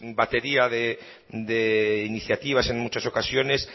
batería de iniciativas en muchas ocasiones